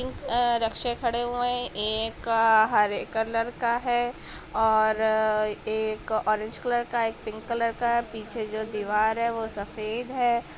आ रक्शे खड़े हुए है एक आ हरे कलर का है और एक ऑरेंज कलर का है एक पिंक कलर का है पिछे जो दीवाल है वो सफ़ेद है।